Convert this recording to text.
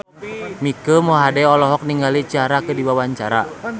Mike Mohede olohok ningali Ciara keur diwawancara